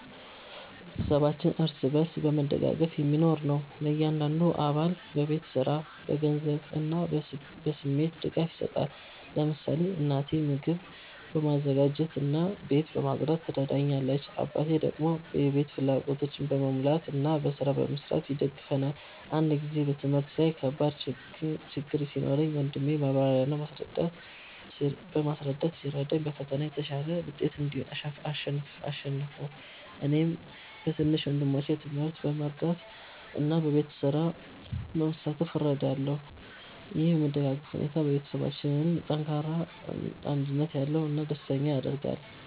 ቤተሰባችን እርስ በርስ በመደጋገፍ የሚኖር ነው። እያንዳንዱ አባል በቤት ስራ፣ በገንዘብ እና በስሜት ድጋፍ ይሰጣል። ለምሳሌ እናቴ ምግብ በማዘጋጀት እና ቤት በማጽዳት ትረዳኛለች፣ አባቴ ደግሞ የቤት ፍላጎቶችን በመሙላት እና በስራ በመስራት ይደግፈናል። አንድ ጊዜ በትምህርት ላይ ከባድ ችግኝ ሲኖረኝ ወንድሜ በማብራሪያ እና በማስረዳት ሲረዳኝ በፈተና በተሻለ ውጤት አሸነፍሁ። እኔም በትንሽ ወንድሞቼ ትምህርት በመርዳት እና በቤት ስራ በመሳተፍ እረዳለሁ። ይህ የመደጋገፍ ሁኔታ ቤተሰባችንን ጠንካራ፣ አንድነት ያለው እና ደስተኛ ያደርጋል።